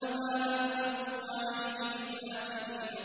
مَا أَنتُمْ عَلَيْهِ بِفَاتِنِينَ